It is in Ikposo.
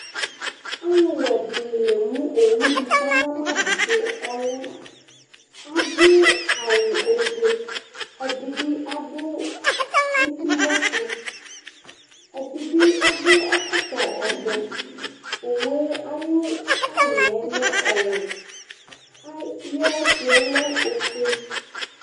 Alʊwɛ dɩnɩ lemʊ owʊ di kaɣnamadʊ kɔlɛ Adʊ awʊ ofʊe, ɛdɩbɩ adʊ etɩwɛsʊ, ɛdɩbɩ adʊ ɛkɔtɔ ovɛ Owʊe aƴʊ tayaɛ ɔlɛ ɔwɛ, aƴɛtʊyɛ ɔlɛ ofʊe